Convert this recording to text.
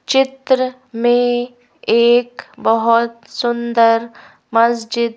चित्र में एक बहुत सुंदर मस्जिद--